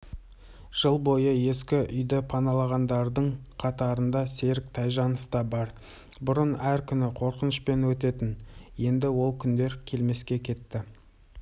жыл бойы ескі үйді паналағандардың қатарында серік тайжанов та бар бұрын әр күні қорқынышпен өтетін енді ол күндер келмеске кетті